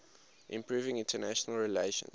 improving international relations